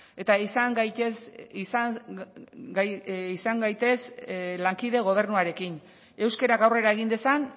eta izan gaitezen lankide gobernuarekin euskerak aurrera egin dezan